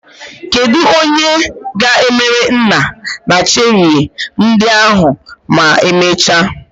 Kedu onye ga-emere nna nna cherie ndị ahụ ma emechaa?